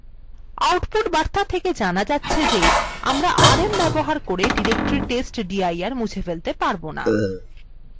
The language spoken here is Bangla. output বার্তা থেকে জানা যাচ্ছে যে আমরা rm ব্যবহার করে directory testdir মুছে ফেলতে পারব না